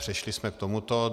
Přešli jsme k tomuto.